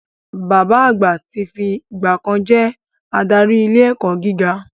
Bàbá àgbà ti fi ìgbà kan ri jẹ́ adarí ilé ẹ̀kọ́ gíga